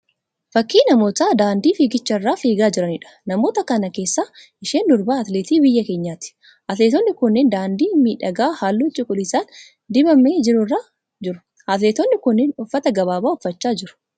Fakkii namoota daandii fiigichaa irra fiigaa jiraniidha. Namoota kana keessaa isheen durbaa atileetii biyya keenyaati. Atileetonni kunneen daandii miidhagaa halluu cuquliisaan dibamee jiru irra jiru. Atileetonni kunneen uffata gabaabaa uffachaa jiru.